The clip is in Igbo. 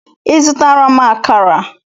Ị zụtara m akara?